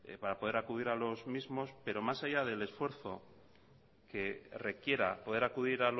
para poder acudir a los mismos pero más allá del esfuerzo que requiera poder acudir